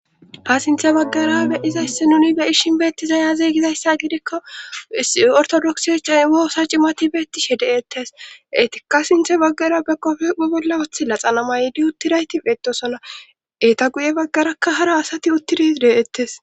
Ha sinthe baggarabe dizaysi nuni be ishin beetti zayazeygizayssa gidekka is ortodoksi cay woossa cimati beettishe deettes etikka sinthe baggara be kofe phu bolla wothi la xanama ydi uttirayti etosona eeta guye baggarakka hara asati uttidi deeettes